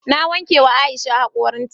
Na wanke ma Aisha hakorin ta